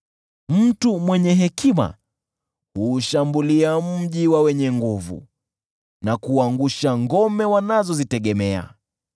Mtu mwenye hekima huushambulia mji wa wenye nguvu, na kuangusha ngome wanazozitegemea.